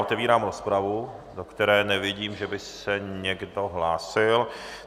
Otevírám rozpravu, do které nevidím, že by se někdo hlásil.